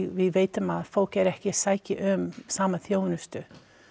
við vitum að fólk er ekki að sækja um sömu þjónustu